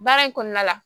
Baara in kɔnɔna la